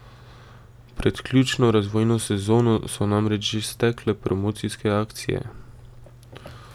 Pred ključno razvojno sezono so namreč že stekle promocijske akcije.